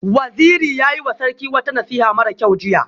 Waziri ya yiwa Sarki wata nasiha mara kyau jiya